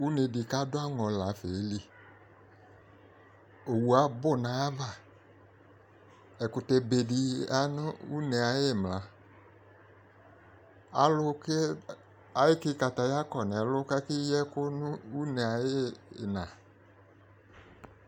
Une de ko ado anĝɔ la fa ye li Owu abu no aya va Ɛkutɛbe de ya une aye imla, Alu ko eke kataya kɔ no ɛlu lake yi ɛku no une aye ina